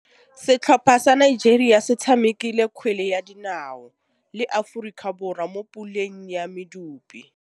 Setlhopha sa Nigeria se tshamekile kgwele ya dinaô le Aforika Borwa mo puleng ya medupe.